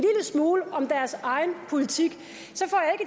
smule om deres egen politik